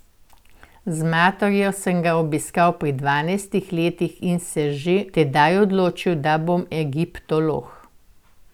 Z materjo sem ga obiskal pri dvanajstih letih in se že tedaj odločil, da bom egiptolog.